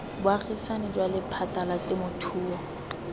bogaisani jwa lephata la temothuo